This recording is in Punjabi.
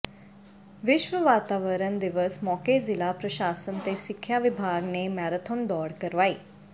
ਵਿਸ਼ਵ ਵਾਤਾਵਰਨ ਦਿਵਸ ਮੌਕੇ ਜ਼ਿਲ੍ਹਾ ਪ੍ਰਸ਼ਾਸਨ ਤੇ ਸਿੱਖਿਆ ਵਿਭਾਗ ਨੇ ਮੈਰਾਥਨ ਦੌੜ ਕਰਵਾਈ